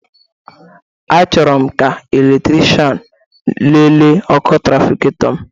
Achọrọ m ka eletrichan nele ọkụ trafikato m